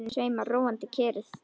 Í loftinu sveimar róandi kyrrð.